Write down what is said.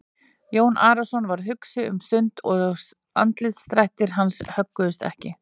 Jón Arason varð hugsi um stund og andlitsdrættir hans högguðust ekki.